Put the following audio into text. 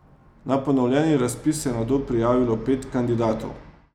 Na ponovljeni razpis se je nato prijavilo pet kandidatov.